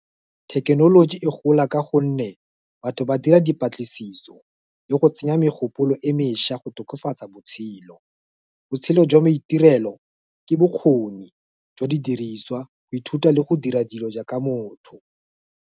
Thekenoloji e gola ka gonne batho ba dira dipatlisiso, le go tsenya megopolo e mešwa go tokafatsa botshelo. Botshelo jwa maitirelo ke bokgoni jwa di diriswa, go ithuta le go dira dilo jaaka motho.